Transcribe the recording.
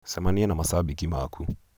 cemanĩa na macambĩki maaku.